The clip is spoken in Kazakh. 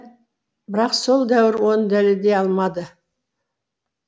бірақ сол дәуір оны дәлелдей алмады